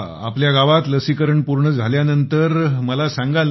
आपल्या गावात लसीकरण पूर्ण झाल्यानंतर मला सांगाल ना